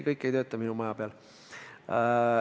Kõik ei tööta minu maja peal.